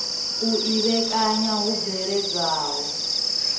u i vhekanya hu bveledzwaho